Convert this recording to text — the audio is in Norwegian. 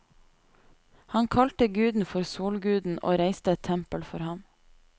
Han kalte guden for solguden og reiste et tempel for ham.